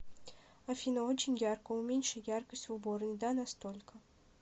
афина очень ярко уменьши яркость в уборной да на столько